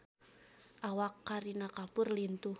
Awak Kareena Kapoor lintuh